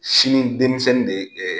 Sini denmisɛnnin de ye